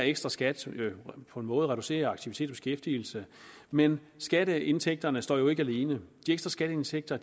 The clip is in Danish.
ekstraskat på en måde reducere aktivitet og beskæftigelse men skatteindtægterne står jo ikke alene de ekstra skatteindtægter